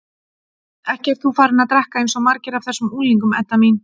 Ekki ert þú farin að drekka eins og margir af þessum unglingum, Edda mín?